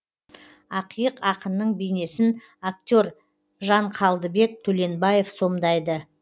ақиық ақынның бейнесін актер жанқалдыбек төленбаев сомдайды